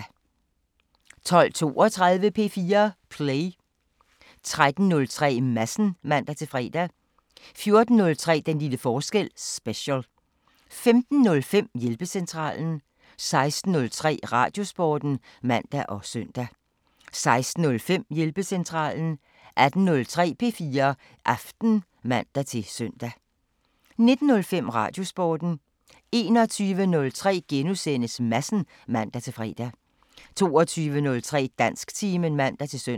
12:32: P4 Play 13:03: Madsen (man-fre) 14:03: Den lille forskel – special 15:05: Hjælpecentralen 16:03: Radiosporten (man og søn) 16:05: Hjælpecentralen 18:03: P4 Aften (man-søn) 19:05: Radiosporten 21:03: Madsen *(man-fre) 22:03: Dansktimen (man-søn)